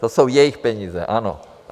To jsou jejich peníze, ano.